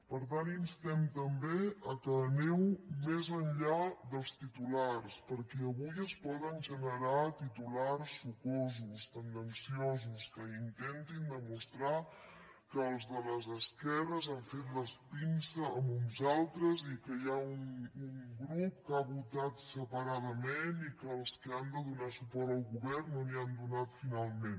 per tant instem també que aneu més enllà dels titulars perquè avui es poden generar titulars sucosos tendenciosos que intentin demostrar que els de les esquerres han fet la pinça a uns altres i que hi ha un grup que ha votat separadament i que els que han de donar suport al govern no li n’han donat finalment